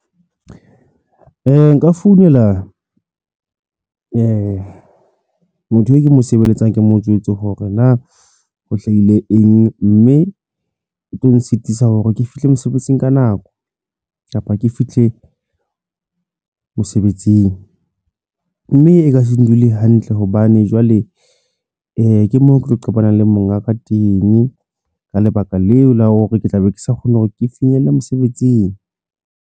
Nka founela moo motho eo ke mo sebeletsang, ke mo jwetse hore na ho hlahile mme e tlo nsitisa hore ke fihle mosebetsing ka nako kapa ke fihle mosebetsing mme e ka se ndule hantle hobane jwale ke moo ke tlo shebanang le monga ka teng ka lebaka leo la hore ke tla be ke sa kgone hore ke finyelle mosebetsing.